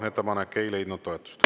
Ettepanek ei leidnud toetust.